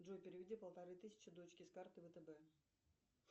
джой переведи полторы тысячи дочке с карты втб